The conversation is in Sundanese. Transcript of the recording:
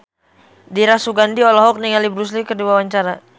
Dira Sugandi olohok ningali Bruce Lee keur diwawancara